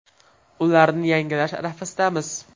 Ularni yangilash arafasidamiz.